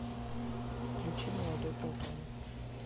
включи молодой платон